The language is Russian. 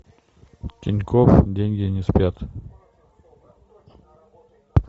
тинькофф деньги не спят